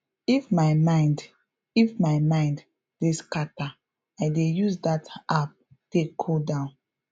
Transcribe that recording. if my mind if my mind dey scatter i dey use that app take cool down